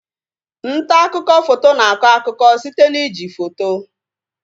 Ntaakụkọ foto na akọ akụkọ site na iji foto